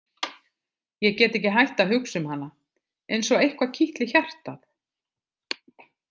Ég get ekki hætt að hugsa um hana, eins og eitthvað kitli hjartað.